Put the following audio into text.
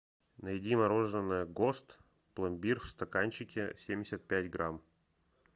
найди мороженое гост пломбир в стаканчике семьдесят пять грамм